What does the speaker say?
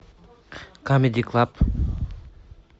камеди клаб